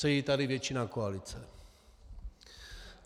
Sedí tady většina koalice.